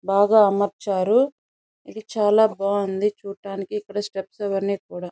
బాగా అమర్చారు ఇది చాలా బాగుంది చూడటానికి ఇక్కడ స్టెప్స్ అవన్నీ కూడా --